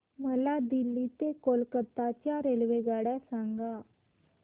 मला दिल्ली ते कोलकता च्या रेल्वेगाड्या सांगा